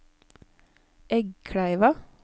Eggkleiva